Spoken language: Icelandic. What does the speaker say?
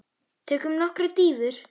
Tökum nokkrar dýfur!